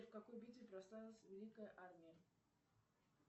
в какой битве прославилась великая армия